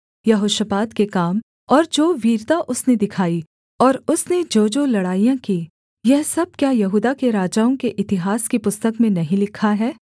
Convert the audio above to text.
यहोशापात के काम और जो वीरता उसने दिखाई और उसने जोजो लड़ाइयाँ की यह सब क्या यहूदा के राजाओं के इतिहास की पुस्तक में नहीं लिखा है